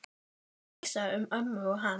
Svo kom vísa um ömmu og hann